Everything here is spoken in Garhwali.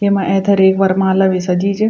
येमा ऐथर एक वरमाला भी सजी च।